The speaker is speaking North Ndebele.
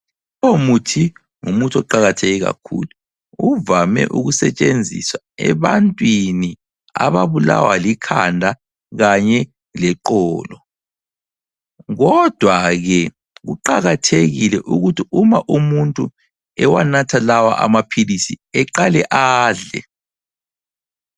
Umuthi, ngumuthi oqakatheke kakhulu. Uvame ukusetshenziswa ebantwini ababulawa likhanda kanye leqolo. Kodwa ke kuqakathekile ukuthi uma umuntu ewanatha lawa amaphilisi eqale adle.